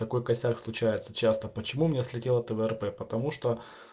такой косяк случается часто почему у меня слетела тврп потому что